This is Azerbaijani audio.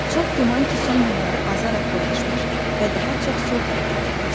Çox güman ki, son günləri azaraq dolaşmış və daha çox sol tərəfə getmişdi.